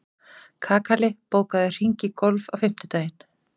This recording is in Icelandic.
Kakali, bókaðu hring í golf á fimmtudaginn.